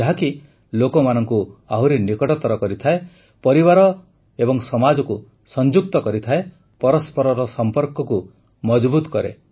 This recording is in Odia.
ଯାହାକି ଲୋକମାନଙ୍କୁ ଆହୁରି ନିକଟତର କରିଥାଏ ପରିବାର ଏବଂ ସମାଜକୁ ସଂଯୁକ୍ତ କରିଥାଏ ପରସ୍ପରର ସମ୍ପର୍କକୁ ମଜବୁତ କରେ